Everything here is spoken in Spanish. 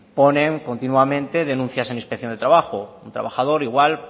ponen continuamente denuncias en la inspección de trabajo un trabajador igual